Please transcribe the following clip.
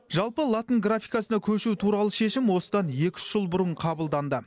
жалпы латын графикасына көшу туралы шешім осыдан екі үш жыл бұрын қабылданды